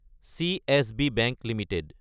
CSB bank Ltd